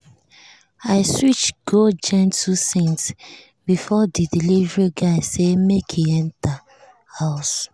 i switch go gentle scent before the delivery guy say make e enter house.